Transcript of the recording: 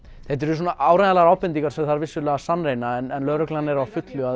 þetta eru svona áreiðanlegar ábendingar sem þarf vissulega að sannreyna en lögreglan er á fullu að